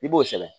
I b'o sɛbɛn